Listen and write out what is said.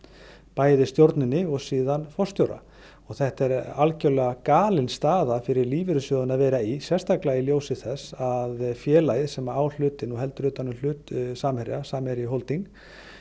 bæði stjórninni og síðan forstjóra og þetta er algerlega galin staða fyrir lífeyrissjóðina að vera í sérstaklega í ljósi þess að félagið sem á hlutinn og heldur utan um hlut Samherja Samherji Holding